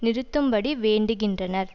நிறுத்தும்படி வேண்டுகின்றனர்